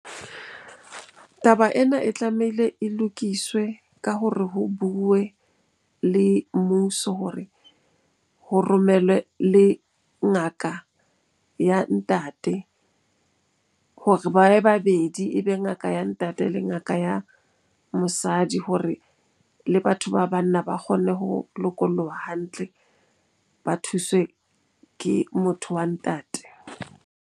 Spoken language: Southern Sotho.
Taba ena e tlamehile e lokiswe ka ho re ho bue le mmuso hore ho romelwe le ngaka ya ntate hore ba be babedi. Ebe ngaka ya ntate le ngaka ya mosadi hore le batho ba banna ba kgonne ho lokoloha hantle, ba thuswe ke motho wa ntate.